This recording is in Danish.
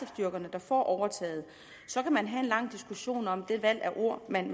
styrkerne der får overtaget så kan man have en lang diskussion om det valg af ord man